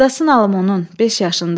Qadasın alım onun, 5 yaşındadır.